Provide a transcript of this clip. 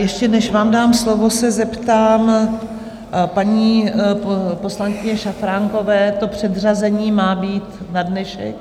Ještě než vám dám slovo, se zeptám paní poslankyně Šafránkové, to předřazení má být na dnešek?